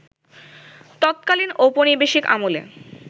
ততকালীন ঔপনিবেশিক আমলে